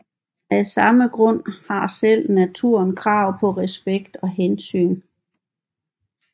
Af samme grund har selv naturen krav på respekt og hensyn